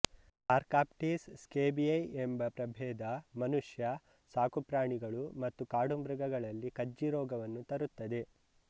Sarcoptes scabiei ಎಂಬ ಪ್ರಭೇದ ಮನುಷ್ಯ ಸಾಕುಪ್ರಾಣಿಗಳು ಮತ್ತು ಕಾಡುಮೃಗಗಳಲ್ಲಿ ಕಜ್ಜಿರೋಗವನ್ನು ತರುತ್ತದೆ